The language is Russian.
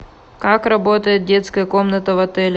как работает детская комната в отеле